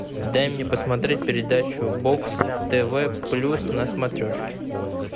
дай мне посмотреть передачу бокс тв плюс на смотрешке